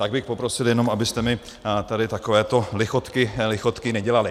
Tak bych poprosil jenom, abyste mi tady takovéto lichotky nedělali.